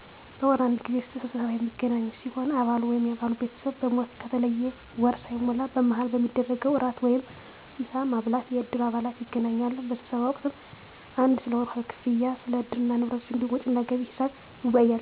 በወር አንድ ጊዜ ለስብሰባ የሚገናኙ ሲሆን አባሉ ወይም የአባሉ ቤተሰብ በሞት ከተለየ ወር ሳይሞላ በመሀል በሚደረገዉ ራት ወይም ምሳ ማብላት ላይ የእድሩ አባላት ይገናኛሉ በስብሰባ ወቅትም 1 ስለወርሀዊ ክፍያ ክፍያ 2 ስለእድሩ ንብረቶች እንዲሁም ወጭና ገቢ ሒሳብ ይወያያሉ